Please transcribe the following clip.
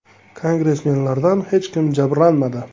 Kongressmenlardan hech kim jabrlanmadi.